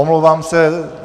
Omlouvám se.